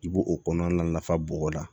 I b'o kɔnɔna nafa bɔgɔda